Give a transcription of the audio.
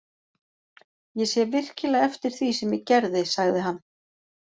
Ég sé virkilega eftir því sem ég gerði, sagði hann.